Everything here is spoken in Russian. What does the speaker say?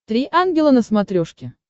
три ангела на смотрешке